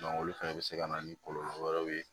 olu fɛnɛ bɛ se ka na ni kɔlɔlɔ wɛrɛw ye